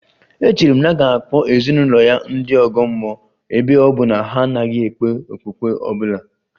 Echere m na a ga-akpọ ezinụlọ ya ndị ọgọ mmụọ ebe ọ bụ na ha anaghị ekpe okpukpe ọ bụla